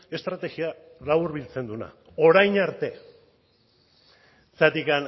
estrategia laburbiltzen duena orain arte zergatik